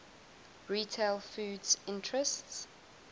retail foods interests